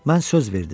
Mən söz verdim.